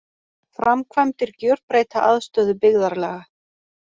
Framkvæmdir gjörbreyta aðstöðu byggðarlaga